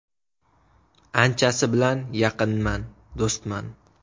Anchasi bilan yaqinman, do‘stman.